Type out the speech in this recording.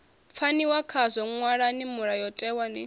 pfaniwa khazwo ṅwalani mulayotewa ni